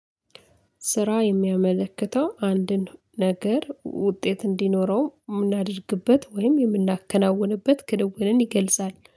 ስራ የሚያመለክተው አንድን ነገር ውጤት እንዲኖረው የምናደርግበት ወይም የምናከናውንበት ክንውንን ይገልጻል